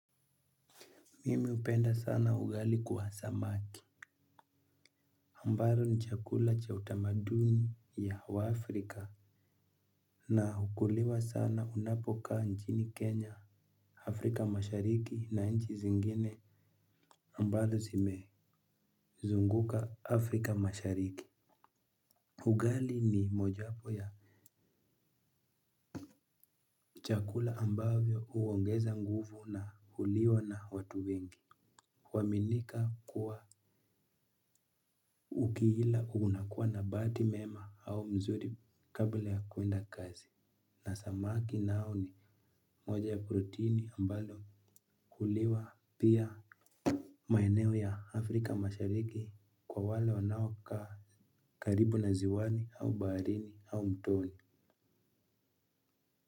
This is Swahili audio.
Mimi hupenda sana ugali kwa samaki ambalo ni chakula cha utamaduni ya waafrika na hukuliwa sana unapokaa nchini Kenya Afrika mashariki na nchi zingine ambalo zimezunguka Afrika mashariki ugali ni moja hapo ya chakula ambavyo huongeza nguvu na huliwa na watu wengi. Huaminika kuwa ukiila unakua na bahati mema au mzuri kabla ya kuenda kazi na samaki nao ni moja ya proteini ambalo huliwa pia maeneo ya Afrika mashariki kwa wale wanaokaa karibu na ziwani au baharini au mtoni.